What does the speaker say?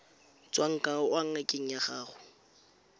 tswang kwa ngakeng ya gago